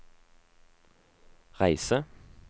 reise